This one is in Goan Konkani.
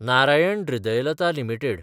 नारायण हृदयालया लिमिटेड